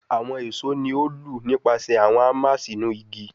Awọn eso ni o lu nipasẹ awọn hammer sinu igi